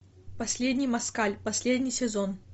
последний москаль последний сезон